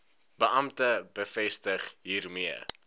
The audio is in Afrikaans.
beampte bevestig hiermee